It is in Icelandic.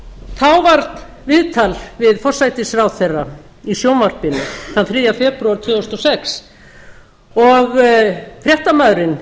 þá var viðtal við forsætisráðherra í sjónvarpinu þann þriðja febrúar tvö þúsund og sex og fréttamaðurinn